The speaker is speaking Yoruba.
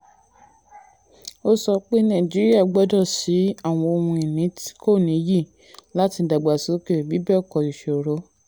ó sọ pé nàìjíríà gbọ́dọ̀ sí àwọn ohun ìní kò nìyí láti dàgbàsókè bí bẹ́ẹ̀ kọ́ ìṣòro.